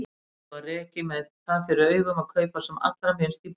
Heimilið var rekið með það fyrir augum að kaupa sem allra minnst í búðum.